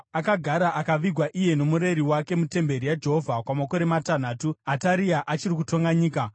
Akagara akavigwa iye nomureri wake mutemberi yaJehovha kwamakore matanhatu, Ataria achiri kutonga nyika.